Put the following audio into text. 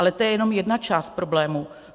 Ale to je jenom jedna část problému.